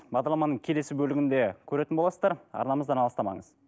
бағдарламаның келесі бөлігінде көретін боласыздар арнамыздан алыстамаңыз